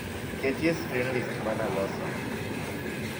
ket e screen list manaloso